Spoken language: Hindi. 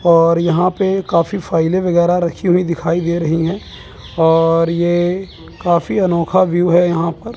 और यहां पे काफी फाइलें वगैरा रखी हुई दिखाई दे रही है और ये काफी अनोखा व्यू है यहां पर।